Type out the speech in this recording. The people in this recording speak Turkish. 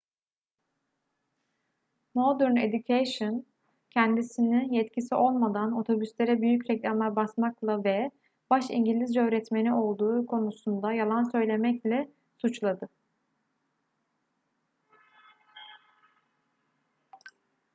modern education kendisini yetkisi olmadan otobüslere büyük reklamlar basmakla ve baş i̇ngilizce öğretmeni olduğu konusunda yalan söylemekle suçladı